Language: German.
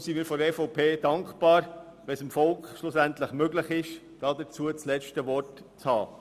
Wir von der EVP sind deshalb dankbar, wenn es dem Volk schliesslich möglich sein wird, das letzte Wort zu haben.